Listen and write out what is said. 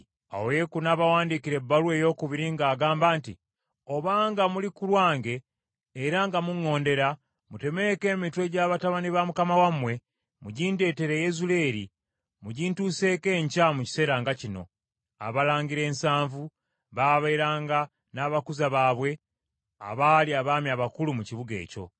Awo Yeeku n’abawandiikira ebbaluwa eyookubiri ng’agamba nti, “Obanga muli ku lwange era nga muŋŋondera, mutemeeko emitwe gy’abatabani ba mukama wammwe, mugindetere e Yezuleeri, mugintuseeko enkya mu kiseera nga kino.” Abalangira ensanvu baabeeranga n’abakuza baabwe abaali abaami abakulu mu kibuga ekyo.